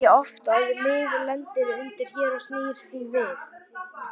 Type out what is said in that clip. Það gerist ekki oft að lið lendir undir hér og snýr því við.